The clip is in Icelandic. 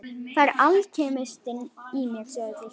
Það er alkemistinn í mér sjáðu til.